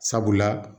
Sabula